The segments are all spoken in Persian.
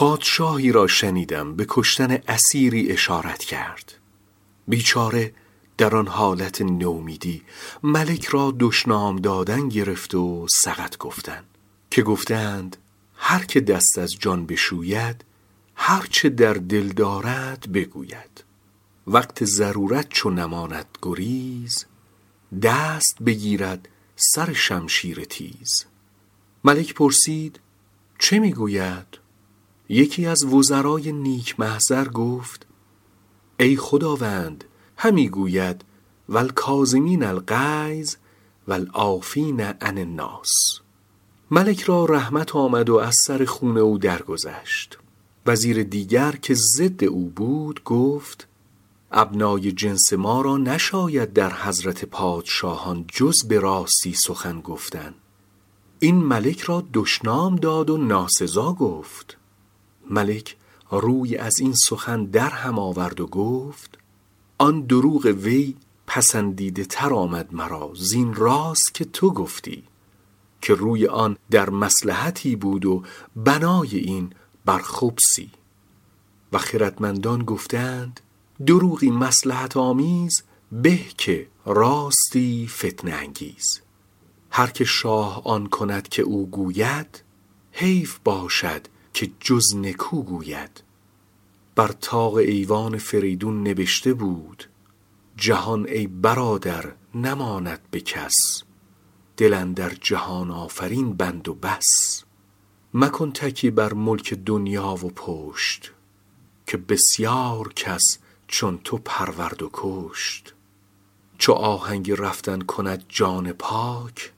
پادشاهی را شنیدم به کشتن اسیری اشارت کرد بیچاره در آن حالت نومیدی ملک را دشنام دادن گرفت و سقط گفتن که گفته اند هر که دست از جان بشوید هر چه در دل دارد بگوید وقت ضرورت چو نماند گریز دست بگیرد سر شمشیر تیز إذا ییس الإنسان طال لسانه کسنور مغلوب یصول علی الکلب ملک پرسید چه می گوید یکی از وزرای نیک محضر گفت ای خداوند همی گوید و الکاظمین الغیظ و العافین عن الناس ملک را رحمت آمد و از سر خون او درگذشت وزیر دیگر که ضد او بود گفت ابنای جنس ما را نشاید در حضرت پادشاهان جز به راستی سخن گفتن این ملک را دشنام داد و ناسزا گفت ملک روی از این سخن در هم آورد و گفت آن دروغ وی پسندیده تر آمد مرا زین راست که تو گفتی که روی آن در مصلحتی بود و بنای این بر خبثی و خردمندان گفته اند دروغی مصلحت آمیز به که راستی فتنه انگیز هر که شاه آن کند که او گوید حیف باشد که جز نکو گوید بر طاق ایوان فریدون نبشته بود جهان ای برادر نماند به کس دل اندر جهان آفرین بند و بس مکن تکیه بر ملک دنیا و پشت که بسیار کس چون تو پرورد و کشت چو آهنگ رفتن کند جان پاک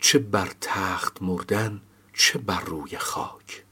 چه بر تخت مردن چه بر روی خاک